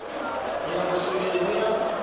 ho ya bosoleng ho ya